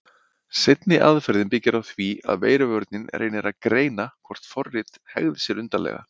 Seinni aðferðin byggir á því að veiruvörnin reynir að greina hvort forrit hegði sér undarlega.